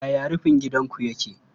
Yaya rufin gidanku yake?